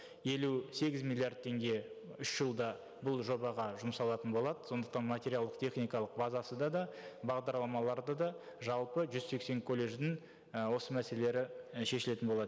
елу сегіз миллиард теңге үш жылда бұл жобаға жұмсалатын болады сондықтан материалдық техникалық базасы да да бағдарламалары да да жалпы жүз сексен колледждің і осы мәселелері і шешілетін болады